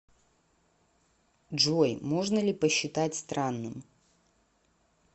джой можно ли посчитать странным